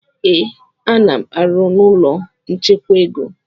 Ee, a-nam arụ na ụlọ nchekwa ego